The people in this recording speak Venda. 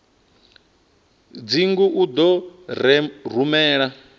dzingu u ḓo u rumela